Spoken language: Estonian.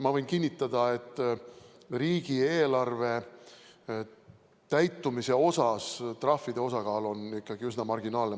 Ma võin kinnitada, et riigieelarve täitumisel on trahvide osakaal ikkagi üsna marginaalne.